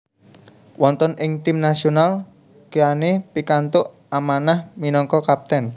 Wonten ing tim nasional Keane pikantuk amanah minangka kapten